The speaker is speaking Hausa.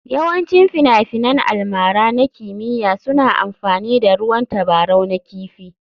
Yawancin finafinan almara na kimiyya suna amfani da ruwan tabarau na kifi.